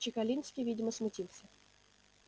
чекалинский видимо смутился